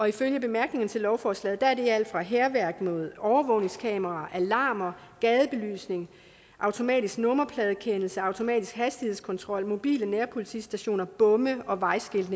ifølge bemærkningerne til lovforslaget er det alt fra hærværk mod overvågningskameraer alarmer gadebelysning automatisk nummerpladegenkendelse automatisk hastighedskontrol mobile nærpolitistationer bomme og vejskilte